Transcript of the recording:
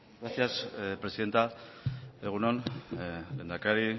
gracias presidenta egun on lehendakari